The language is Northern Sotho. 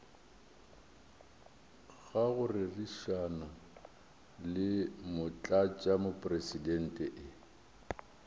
ga go rerišana le motlatšamopresidente